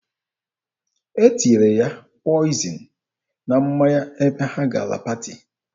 E tinyere ya pọịzịn na mmanya ebe ha gara paati.